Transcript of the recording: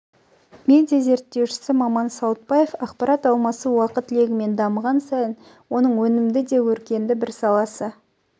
медиа зерттеуші маман саутбаев ақпарат алмасу уақыт легімен дамыған сайын оның өнімді де өркенді бір саласы